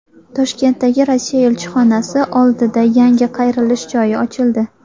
Toshkentdagi Rossiya elchixonasi oldida yangi qayrilish joyi ochildi.